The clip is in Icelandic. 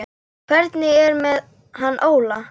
Hvernig er með hann Óla?